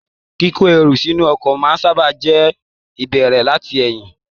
Kiko èrò sínú ọkọ̀ sábà máa n bẹrẹ láti ẹyin.